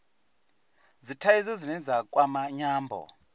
dzithaidzo dzine dza kwama nyambo